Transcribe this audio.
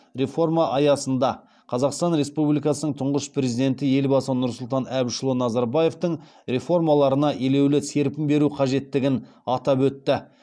реформа аясында қазақстан республикасының тұңғыш президенті елбасы нұрсұлтан әбішұлы назарбаевтың реформаларына елеулі серпін беру қажеттігін атап өтті